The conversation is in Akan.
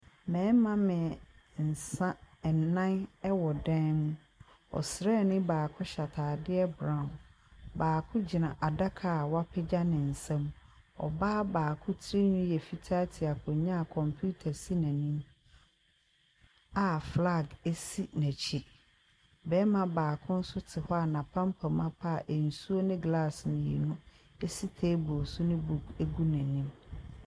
Mmɛrima ɛnnan ɛwɔ dan mu. Ɔsrane baako hyɛ ataadeɛ brawn. Baako gyina adaka w'apagya ne nsam. Ɔbaa baako tiri nwii yɛ fitaa te akonwa a kɔmputa si n'anim a filag esi n'akyi. Bɛrima baako nso te hɔ a n'apampam apa a nsuo ne glas mmienu esi teebol so ne buk egu n'anim.